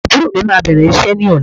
Àbúrò mí máa bẹ̀rẹ̀ iṣẹ́ ní ọ̀la.